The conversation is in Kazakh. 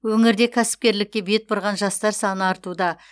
өңірде кәсіпкерлікке бет бұрған жастар саны артуда